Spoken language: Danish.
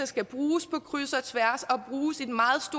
skal bruges på kryds og tværs